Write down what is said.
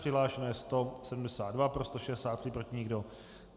Přihlášeno je 172, pro 163, proti nikdo.